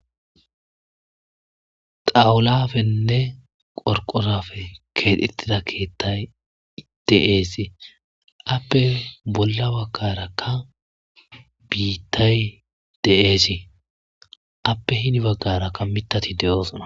xawulafenne qorqorafe keexettida keethay de7eesi appe bolla wakarakka biittay de7eesi appe hini baggarakka mitati de7oosona